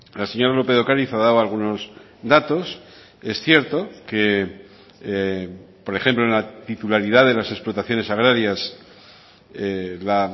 la señora lópez de ocariz ha dado algunos datos es cierto que por ejemplo en la titularidad de las explotaciones agrarias la